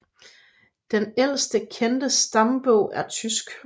Den ældste kendte stambog er tysk